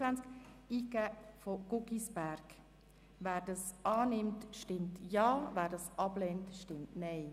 Wer diese Planungserklärung annimmt, stimmt Ja, wer diese ablehnt, stimmt Nein.